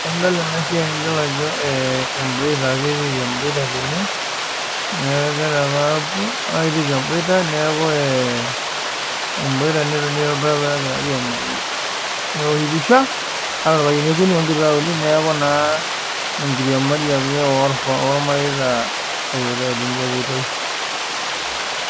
Enidol ena siai nidol ajo emboita etiiki egirai aapuo netiiki emboita neeku ee emboita netonii torbaribara neoshi pisha adolta irpayiani okuni onkituak uni neeku enkiriamari ake ormareita epoitoi.